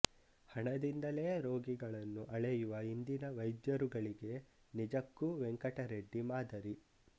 ಹಣದಿಂದಲೇ ರೋಗಿಗಳನ್ನು ಅಳೆಯುವ ಇಂದಿನ ವೈದ್ಯರುಗಳಿಗೆ ನಿಜಕ್ಕೂ ವೆಂಕಟರೆಡ್ಡಿ ಮಾದರಿ